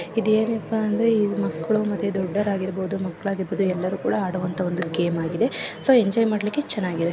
ಇದು ಏನಪ್ಪ ಅಂದರೆ ಇದು ಮಕ್ಕಳು ಮತ್ತು ದೊಡ್ಡವರು ಆಗಿರಬಹುದು ಮಕ್ಕಳಾಗಿರಬಹುದು ಎಲ್ಲರೂ ಕೂಡ ಆಟವಾಡುವಂತಹ ಗೇಮ್‌ ಆಗಿದೆ ಸೊ ಎಂಜಾಯ್ ಮಾಡಲಿಕ್ಕೆ ಚೆನ್ನಾಗಿದೆ.